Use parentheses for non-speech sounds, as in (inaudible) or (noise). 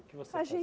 O que você (unintelligible)